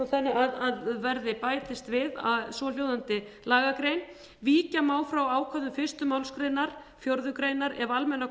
þannig að bætist við svohljóðandi lagagrein víkja má frá ákvæðum fyrstu málsgrein fjórðu grein ef almennar